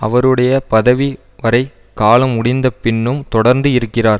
அவருடைய பதவி வரைகாலம் முடிந்த பின்னும் தொடர்ந்து இருக்கிறார்